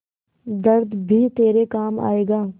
दर्द भी तेरे काम आएगा